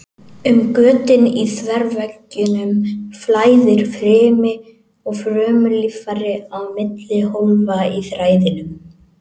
Um götin í þverveggjunum flæðir frymi og frumulíffæri á milli hólfa í þræðinum.